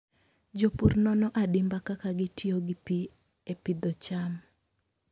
Jopur nono adimba kaka gitiyo gi pi e pidho cham.